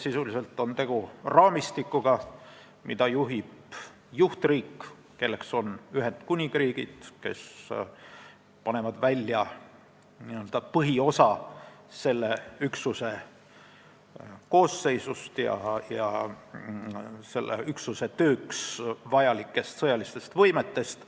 Sisuliselt on tegu raamistikuga, mida juhib juhtriik, kelleks on Ühendkuningriik, kes paneb välja põhiosa selle üksuse koosseisust ja üksuse tööks vajalikest sõjalistest võimetest.